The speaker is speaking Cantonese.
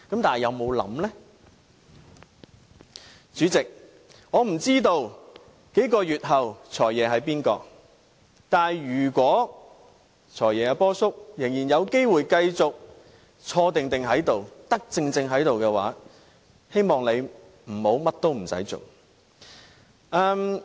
代理主席，我不知道數個月後的"財爺"會是誰，但如果"波叔"仍然有機會繼續坐定在此當"財爺"，我希望他不要甚麼事情也不做。